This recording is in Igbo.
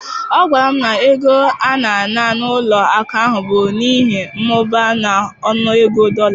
Ọ gwara m na ego a na-ana n'ụlọ akụ bụ n'ihi mmụba n'ọnụego dollar